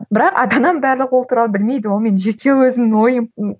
бірақ ата анам барлығы ол туралы білмейді ол менің жеке өзімнің ойым